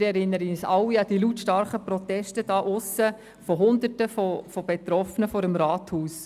Wir erinnern uns alle an die lautstarken Proteste Hunderter von Betroffenen vor dem Rathaus.